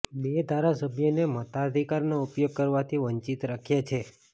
બે ધારાસભ્યને મતાધિકારનો ઉપયોગ કરવાથી વંચિત રાખ્યા છે